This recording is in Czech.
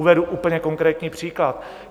Uvedu úplně konkrétní příklad.